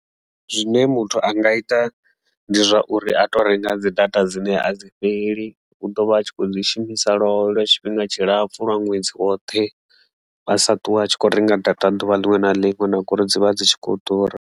Zwine muthu a nga ita ndi zwa uri a to renga dzi data dzine a dzi fheli u ḓo vha a tshi kho dzi shumisa lwolwo lwa tshifhinga tshi lapfhu lwa ṅwedzi woṱhe a sa ṱuwe a tshi kho renga data ḓuvha ḽiṅwe na ḽiṅwe na ngori dzivha dzi tshi khou ḓura.